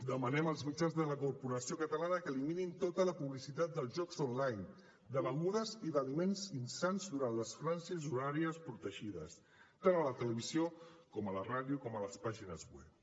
demanem als mitjans de la corporació catalana que eliminin tota la publicitat dels jocs online de begudes i d’aliments insans durant les franges horàries protegides tant a la televisió com a la ràdio com a les pàgines web